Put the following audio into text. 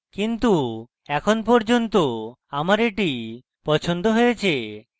কিন্তু এখন পর্যন্ত আমার এটি পছন্দ হয়েছে